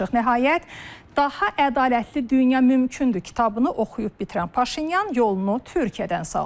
Nəhayət daha ədalətli dünya mümkündür kitabını oxuyub bitirən Paşinyan yolunu Türkiyədən saldı.